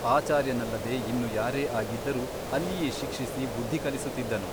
ಆಚಾರ್ಯನಲ್ಲದೆ ಇನ್ನು ಯಾರೇ ಆಗಿದ್ದರೂ ಅಲ್ಲಿಯೇ ಶಿಕ್ಷಿಸಿ ಬುದ್ಧಿ ಕಲಿಸುತ್ತಿದ್ದನು.